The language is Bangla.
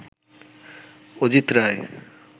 অজিত রায়